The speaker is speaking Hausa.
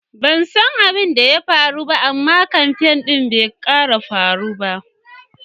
Ban san abin da ya faru ba amma kamfain din bai sake faru ba.